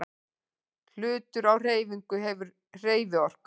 Hlutur á hreyfingu hefur hreyfiorku.